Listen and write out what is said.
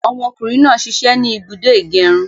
Ọmọ kùnrin náà sisẹ́ ni ibùdó ìgẹrun